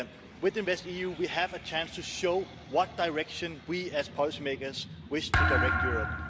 With InvestEU we have a chance to show in what direction we, as policymakers, wish to direct Europe.